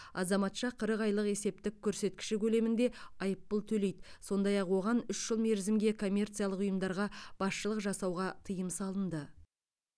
азаматша қырық айлық есептік көрсеткіші көлемінде айыппұл төлейді сондай ақ оған үш жыл мерзімге коммерциялық ұйымдарға басшылық жасауға тыйым салынды